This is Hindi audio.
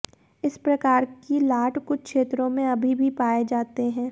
इस प्रकार की लाट कुछ क्षेत्रों में अभी भी पाए जाते हैं